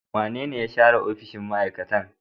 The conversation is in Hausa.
Wanene ya share opishiy ma'aikata?